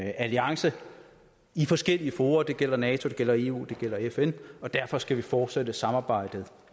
alliance i forskellige fora det gælder nato det gælder eu det gælder fn og derfor skal vi fortsætte samarbejdet